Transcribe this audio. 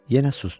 Yenə susdu.